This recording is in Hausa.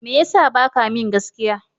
Me ya sa ba ka min gaskiya?